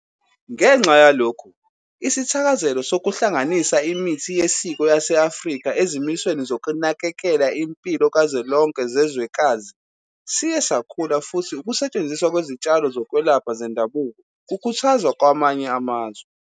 Ngenxa yalokhu, isithakazelo sokuhlanganisa imithi yesiko yase-Afrika ezimisweni zokunakekela impilo kazwelonke zezwekazi siye sakhula futhi ukusetshenziswa kwezitshalo zokwelapha zendabuko kukhuthazwa kwamanye amazwe.